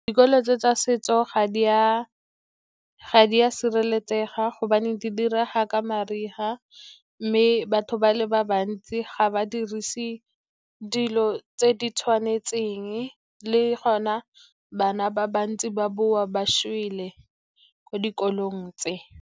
Dikolo tse tsa setso ga di a sireletsega, gobane di direga ka mariga, mme batho ba le bantsi ga ba dirise dilo tse di tshwanetseng. Le gona bana ba ba bantsi ba boa ba šwele ko dikolong tse.